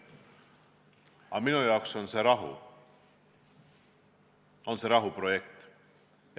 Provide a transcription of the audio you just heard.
Aga minu arvates on põhjus rahu, see on rahuprojekt.